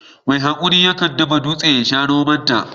Mai hakuri ya kan dafa dutse ya sha romon ta.